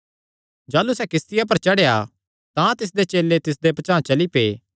जाह़लू सैह़ किस्तिया पर चढ़ेया तां तिसदे चेले तिसदे पचांह़ चली पै